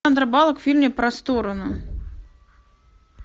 сандра баллок в фильме про сторону